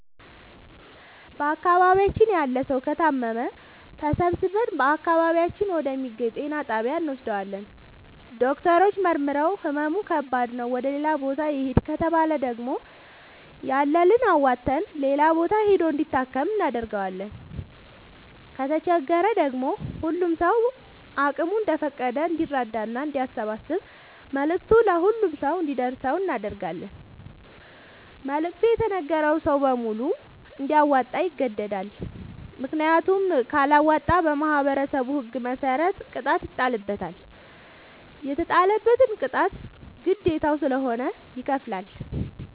በአካባቢያችን ያለ ሠዉ ከታመመ ተሠባስበን በአቅራቢያችን ወደ ሚገኝ ጤና ጣቢያ እንወስደዋለን። ዶክተሮች መርምረዉ ህመሙ ከባድ ነዉ ወደ ሌላ ቦታ ይህድ ከተባለ ደግሞ ያለንን አዋተን ሌላ ቦታ ሂዶ እንዲታከም እናደርጋለን። ከተቸገረ ደግሞ ሁሉም ሰዉ አቅሙ እንደፈቀደ እንዲራዳና አንዲያሰባስብ መልዕክቱ ለሁሉም ሰው አንዲደርሰው እናደርጋለን። መልዕክቱ የተነገረዉ ሰዉ በሙሉ እንዲያወጣ ይገደዳል። ምክንያቱም ካለወጣ በማህበረሠቡ ህግ መሰረት ቅጣት ይጣልበታል። የተጣለበትን ቅጣት ግዴታዉ ስለሆነ ይከፍላል።